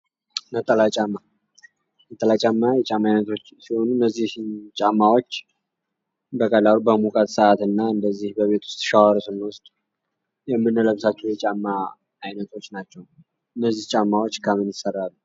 ነጠላ ጫማ ነጠላ ጫማ የጫማ ዓይነቶች ሲሆኑ እነዚህ ጫማዎች በቀላሉ በሙቀት ሰዓት እና እንደዚህ በቤት ውስጥ ሻዋር ስንወስድ የምንለብሳቸው የጫማ አይነቶች ናቸው። እነዚህ ጫማዎች ከምን ይሠራሉ?